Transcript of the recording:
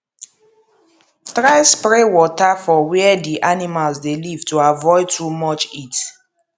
try spray water for where d animals dey live to avoid too much heat